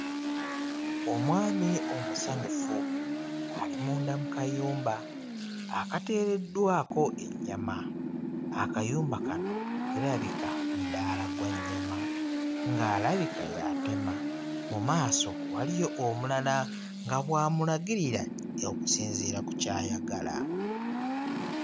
Omwami omusanyufu ali munda mu kayumba akateereddwako ennyama. Akayumba kano kirabika mudaala gwa nnyama ng'alabika y'atema. Mu maaso waliyo omulala nga bw'amulagirira okusinziira ku ky'ayagala.